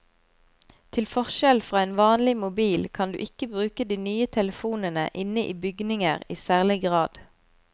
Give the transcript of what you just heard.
Til forskjell fra en vanlig mobil kan du ikke bruke de nye telefonene inne i bygninger i særlig grad.